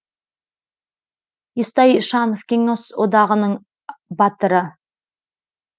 естай ишанов кеңес одағының батыры